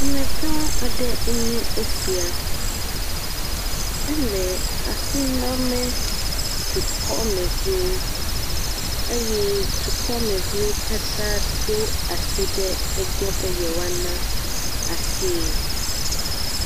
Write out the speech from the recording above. Amegã aɖe enye esia, ele asi name dukɔmeviwo eye dukɔmevi katã do asi ɖe egbɔ be yewoana asie.